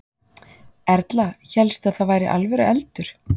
Erla: Hélstu að það væri alvöru eldur?